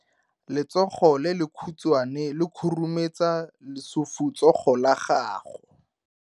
Letsogo le lekhutshwane le khurumetsa lesufutsogo la gago.